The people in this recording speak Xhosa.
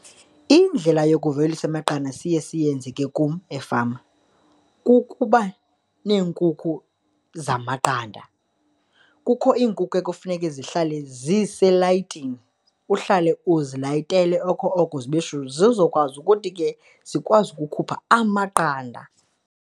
Indlela yokuvelisa amaqanda siye siyenze ke kum efama kukuba neenkukhu zamaqanda. Kukho iinkukhu ekufuneke zihlale ziselayitini, uhlale uzilayitele oko oko zibe shushu, zizokwazi ukuthi ke zikwazi ukukhupha amaqanda.